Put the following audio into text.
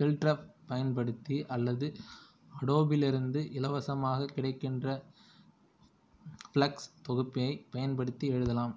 பில்டரைப் பயன்படுத்தி அல்லது அடோபிலிருந்து இலவசமாக கிடைக்கின்ற ஃப்ளெக்ஸ் தொகுப்பியைப் பயன்படுத்தி எழுதலாம்